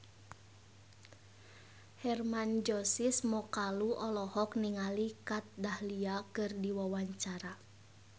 Hermann Josis Mokalu olohok ningali Kat Dahlia keur diwawancara